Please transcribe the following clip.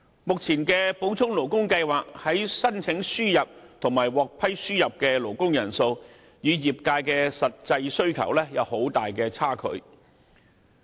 現時按照補充勞工計劃申請輸入和獲批輸入的勞工人數，與業界的實際需求有很大差距。